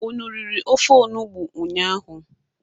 Unu riri ofe onugbu ụnyaahụ?